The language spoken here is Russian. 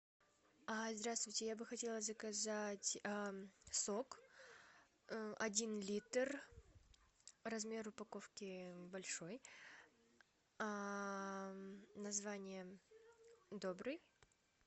здравствуйте я бы хотела заказать сок один литр размер упаковки большой название добрый